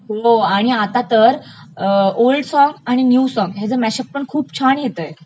हो आणि आता तर अं ओल्ड सॉग्स आणि न्यू सॉन्ग्सचं मॅशअप पण खूप छान येतयं